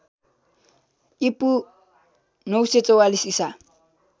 ईपू ९४४ ईसा